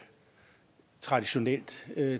traditionelt